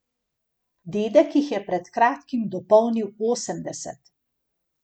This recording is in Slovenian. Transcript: Dedek jih je pred kratkim dopolnil osemdeset.